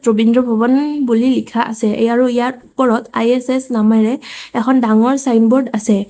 ৰবীন্দ্ৰ ভৱনেই বুলি লিখা আছে আৰু ইয়াৰ ওপৰত আই_এছ_এছ নামেৰে এখন ডাঙৰ চাইন ব'ৰ্ড আছে।